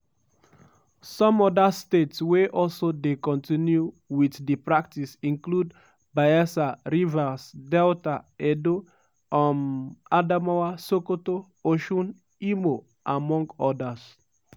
some oda states wey also dey continue wit di practice include bayelsa rivers delta edo um adamawa sokoto osun imo among odas.